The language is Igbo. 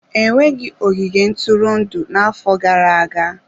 E nweghị ogige ntụrụndụ na-afọ gara-aga.